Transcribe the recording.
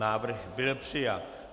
Návrh byl přijat.